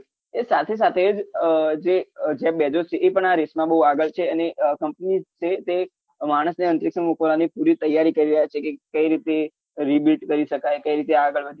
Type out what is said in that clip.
એ સાથે સાથે જ જે jeff bejos છે એ પણ આ રીતના બહુ આગળ છે અને company છે તે માણસને અંતરીક્ષમાં મોકલવાની પૂરી તૈયારી કરી રહ્યા છે કે કઈ રીતે rebeat કરી સકાય કઈ રીતે આગળ વધી શકાય